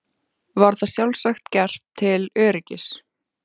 Var það sjálfsagt gert til öryggis.